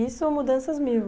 Isso ou mudanças mil?